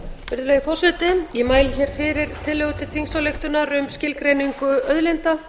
virðulegi forseti ég mæli hér fyrir tillögu til þingsályktunar til þingsályktunar um skilgreiningu auðlinda